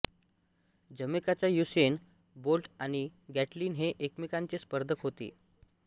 जमैकाचा Usain Bolt आणि Gatlin हे एकमेकांचे स्पर्धक होते